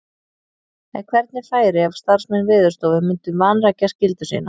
En hvernig færi ef starfsmenn Veðurstofu myndu vanrækja skyldu sína?